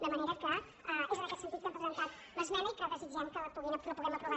de manera que és en aquest sentit que hem presentat l’esmena i que desitgem que la puguem aprovar tots plegats